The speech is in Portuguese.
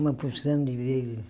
Uma porção de vezes.